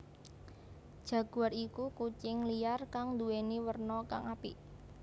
Jaguar iku kucing liar kang nduwèni werna kang apik